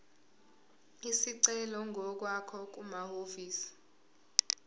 isicelo ngokwakho kumahhovisi